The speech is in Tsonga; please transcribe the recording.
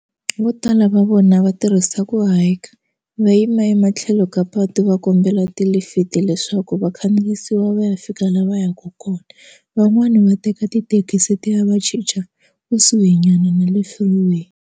Vo tala va vona va tirhisa ku hayika va yima ematlhelo ka patu va kombela ti lifiti leswaku vakhandziyisiwa va ya fika laha va yaka kona van'wani va teka tithekisi ti ya va chicha kusuhinyana na le freeway.